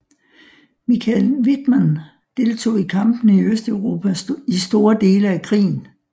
Michael Wittmann deltog i kampene i Østeuropa i store dele af krigen